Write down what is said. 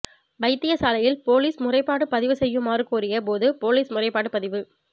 வைத்தியசாலையில் பொலிஸ் முறைப்பாடு பதிவு செய்யுமாறு கோரிய போது பொலிஸ் முறைப்பாடு பதிவு